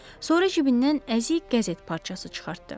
Sonra cibindən əzik qəzet parçası çıxartdı.